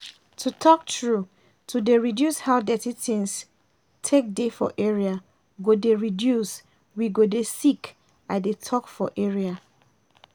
to talk true to dey reduce how dirty things take dey for area go dey reduce we go dey sick i dey talk for area